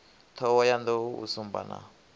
thohoyanḓ ou u sumba na